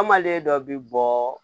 An malen dɔ bi bɔɔɔ